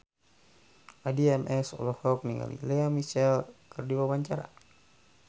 Addie MS olohok ningali Lea Michele keur diwawancara